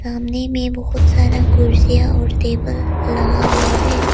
सामने में बहोत सारा कुर्सियां और टेबल लगा हुआ है।